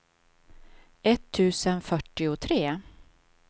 etttusen fyrtiotre